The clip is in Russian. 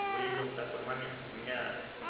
выявил такой момент у меня